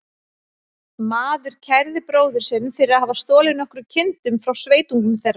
Maður kærði bróður sinn fyrir að hafa stolið nokkrum kindum frá sveitungum þeirra.